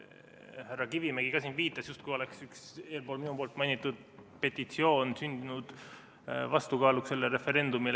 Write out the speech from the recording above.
Härra Kivimägi ka siin viitas, justkui oleks üks eespool minu mainitud petitsioon sündinud vastukaaluks sellele referendumile.